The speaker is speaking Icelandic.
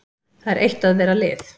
Það er eitt að vera lið.